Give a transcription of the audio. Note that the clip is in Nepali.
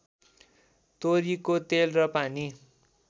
तोरीको तेल र पानी